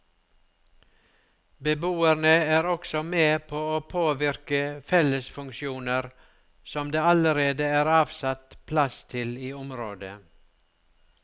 Beboerne er også med på å påvirke fellesfunksjoner som det allerede er avsatt plass til i området.